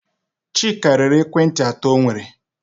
Chika rere ekwentị atọ o nwere.